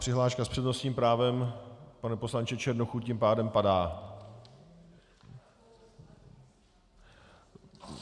Přihláška s přednostním právem, pane poslanče Černochu, tím pádem padá?